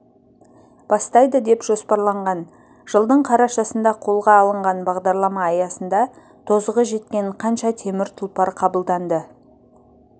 бастайды деп жоспарланған жылдың қарашасында қолға алынған бағдарлама аясында тозығы жеткен қанша темір тұлпар қабылданды